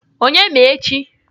Onye ma echi?